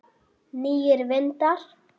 Nýir vindar?